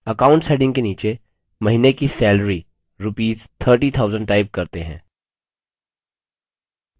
accounts heading के नीचे महीने की सैलरी rupees 30000 type करते हैं